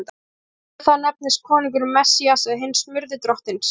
Í samræmi við það nefndist konungurinn Messías eða hinn smurði Drottins.